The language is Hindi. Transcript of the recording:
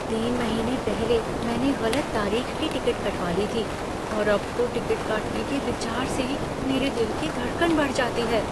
तीन महीने पहले मैंने गलत तारीख़ की टिकट कटवा ली थी और अब तो टिकट काटने के विचार से ही मेरे दिल की धड़कन बढ़ जाती है।